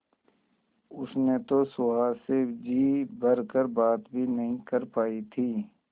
उसने तो सुहास से जी भर कर बात भी नहीं कर पाई थी